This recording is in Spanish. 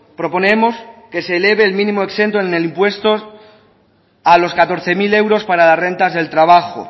proponemos que se eleve el mínimo exento en el impuesto a los catorce mil euros para las rentas del trabajo